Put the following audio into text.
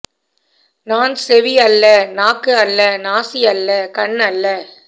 நான் செவி அல்ல நாக்கு அல்ல நாசி அல்ல கண் அல்ல